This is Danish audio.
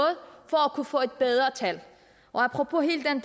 kunne få et bedre tal apropos hele den